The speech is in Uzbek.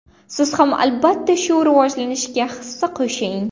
Siz ham albatta shu rivojlanishga hissa qo‘shing!